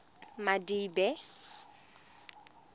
madibe